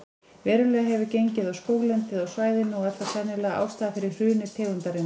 Verulega hefur gengið á skóglendið á svæðinu og er það sennilega ástæðan fyrir hruni tegundarinnar.